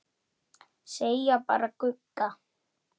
Segja bara Gugga.